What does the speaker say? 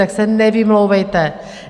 Tak se nevymlouvejte.